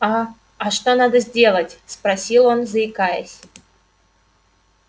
а а что надо сделать спросил он заикаясь